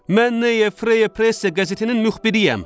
Mən Neye Freye Presse qəzetinin müxbiriyəm.